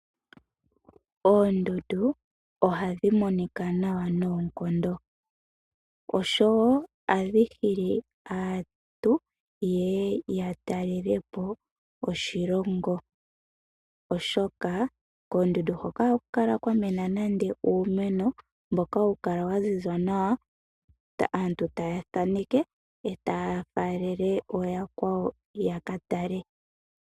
Oondundu ohadhi monika nawa noonkondo oshowo ohadhi hili aantu ye ye ya talele po oshilongo, oshoka koondundu hoka ohaku kala kwa mena nande uumeno, mboka hawu kala wa ziza nawa, aantu taye wu thaneke e taa faalele ooyakwawo ya ka tale.